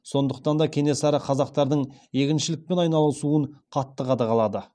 сондықтан да кенесары қазақтардың егіншілікпен айналысуын қатты қадағалады